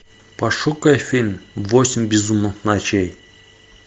пошукай фильм восемь безумных ночей